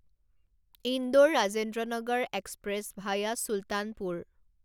Indore Rajendranagar express via Sultanpur